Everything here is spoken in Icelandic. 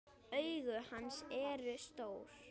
Augu hans eru stór.